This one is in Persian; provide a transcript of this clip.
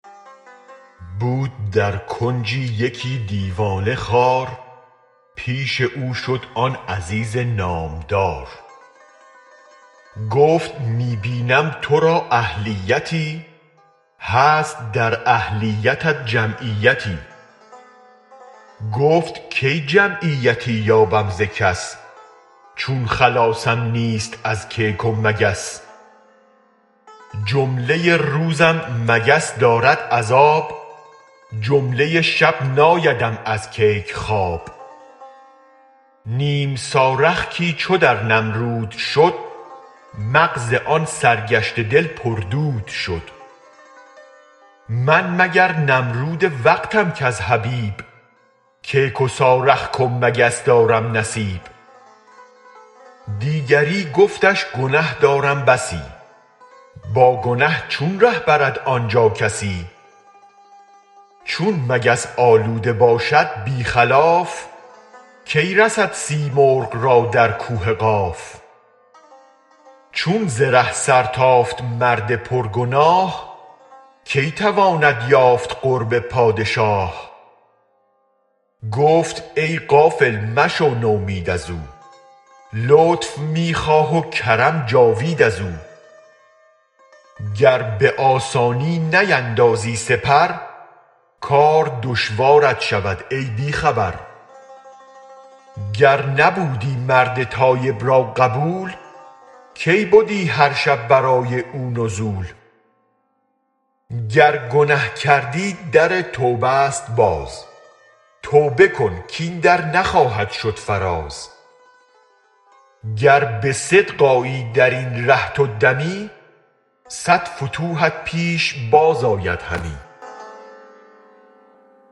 بود در کنجی یکی دیوانه خوار پیش او شد آن عزیز نامدار گفت می بینم ترا اهلیتی هست در اهلیتت جمعیتی گفت کی جمعیتی یابم ز کس چون خلاصم نیست از کیک و مگس جمله روزم مگس دارد عذاب جمله شب نایدم از کیک خواب نیم سارخکی چو در نمرود شد مغز آن سرگشته دل پر دود شد من مگر نمرود وقتم کز حبیب کیک و سارخک و مگس دارم نصیب دیگری گفتش گنه دارم بسی با گنه چون ره برد آنجا کسی چون مگس آلوده باشد بی خلاف کی رسد سیمرغ را در کوه قاف چون ز ره سر تافت مرد پر گناه کی تواند یافت قرب پادشاه گفت ای غافل مشو نومید ازو لطف می خواه و کرم جاوید ازو گر به آسانی نیندازی سپر کار دشوارت شود ای بی خبر گر نبودی مرد تایب را قبول کی بدی هر شب برای او نزول گر گنه کردی در توبه ست باز توبه کن کین در نخواهد شد فراز گر به صدق آیی درین ره تو دمی صد فتوحت پیش بازآید همی